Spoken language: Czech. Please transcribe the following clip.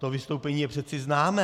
To vystoupení je přece známé.